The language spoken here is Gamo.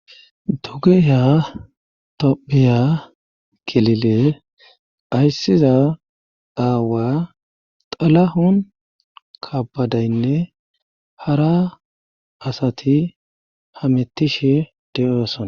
Dugeha tophiya kilile ayssiza daawa xalahun kabadaynne hara asati hamettishe de7ooson.